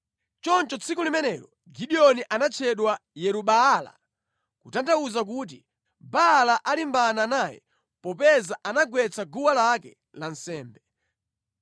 Choncho tsiku limenelo Gideoni anatchedwa, Yeru-Baala, kutanthauza kuti, “Baala alimbana naye, popeza anagwetsa guwa lake la nsembe.”